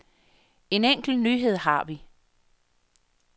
En enkelt nyhed har vi.